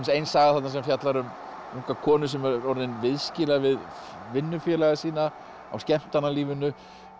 ein saga sem fjallar um unga konu sem er viðskila við vinnufélaga sína á skemmtanalífinu